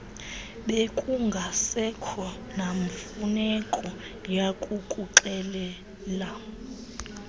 bekungasekho namfuneko yakukuxelela